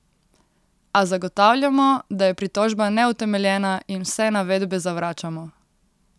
A zagotavljamo, da je pritožba neutemeljena, in vse navedbe zavračamo.